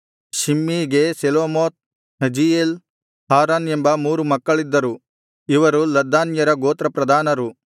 ಶಿಮ್ಮೀಗೆ Shelomoth Haziel Haran ಎಂಬ ಮೂರು ಮಕ್ಕಳಿದ್ದರು ಇವರು ಲದ್ದಾನ್ಯರ ಗೋತ್ರ ಪ್ರಧಾನರು